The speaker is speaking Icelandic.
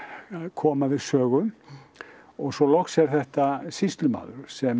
koma við sögu og svo loks er þetta sýslumaður sem